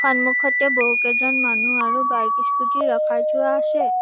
সন্মুখতে বহুকেইজন মানুহ আৰু বাইক স্কুটী ৰখাই থোৱা আছে।